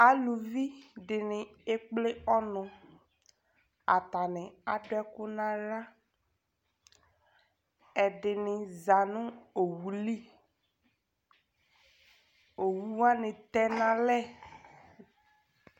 Aluvidɩnɩ ekple ɔnʋ : atanɩ adʋ ɛkʋ n'aɣla Ɛdɩnɩ za nʋ owu li , owuwzanɩ tɛ n'alɛ